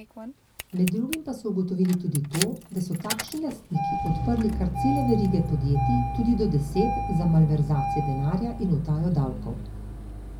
Med drugim pa so ugotovili tudi to, da so takšni lastniki odprli kar cele verige podjetij, tudi do deset, za malverzacije denarja in utajo davkov.